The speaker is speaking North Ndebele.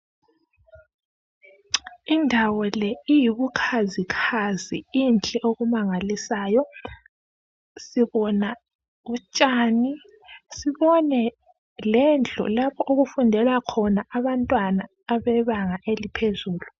Indawo le iyibukhazi khazi inhle okumangalisayo sibona utshani sibone lendlu lapho okufundela khona abantwana abebanga eliphezulu.